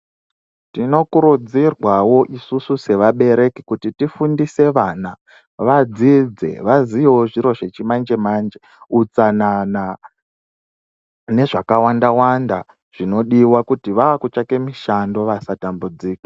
Tinokurudzirwawo isusu sevabereki kuti tifundise vana vadzidze vaziyewo zviro zvechimanje mnje utsanana nezvakawanda zvinodiwa kuti vaakutsvake mushando vasatambudzika.